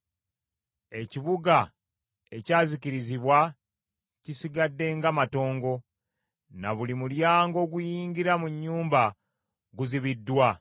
Ekibuga ekyazikirizibwa kisigadde nga matongo, na buli mulyango oguyingira mu nnyumba guzibiddwa.